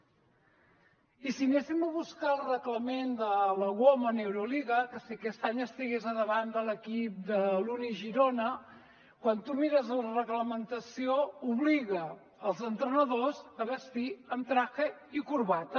i si anéssim a buscar el reglament de la woman euroliga que si aquest any estigués a davant de l’equip de l’uni girona quan tu mires la reglamentació obliga els entrenadors a vestir amb traje i corbata